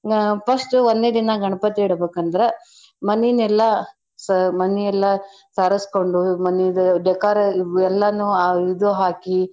ಆ first ಒಂದ್ನೇ ದಿನಾ ಗಣ್ಪತಿ ಇಡ್ಬೇಕಂದ್ರ ಮನಿನೆಲ್ಲ ಸ~ ಮನಿಯಲ್ಲ ಸಾರಸ್ಕೊಂಡು ಮನಿದು decore ಎಲ್ಲಾನೂ ಆ ಇದು ಹಾಕಿ.